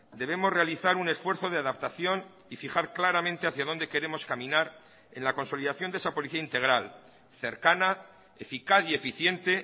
debemos realizar un esfuerzo de adaptación y fijar claramente hacia donde queremos caminar en la consolidación de esa policía integral cercana eficaz y eficiente